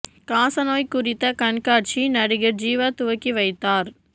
காசநோய் குறித்த கண்காட்சி நடிகர் ஜீவா துவக்கி வைத்தார்